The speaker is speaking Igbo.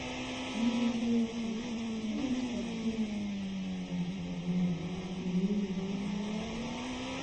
“N’eziokwu, gịnị ka ị um nwere ị nweghị nata?”